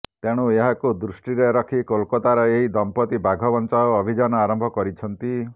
ତେଣୁ ଏହାକୁ ଦୃଷ୍ଟିରେ ରଖି କୋଲକତାର ଏହି ଦମ୍ପତି ବାଘ ବଞ୍ଚାଅ ଅଭିଯାନ ଆରମ୍ଭ କରିଛନ୍ତି